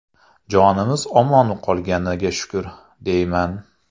Jonimiz omon qolganiga shukr, deyman.